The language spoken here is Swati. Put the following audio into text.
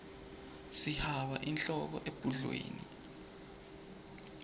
sihaba inhloko ebhudlweni